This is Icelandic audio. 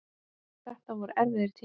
Þetta voru erfiðir tímar.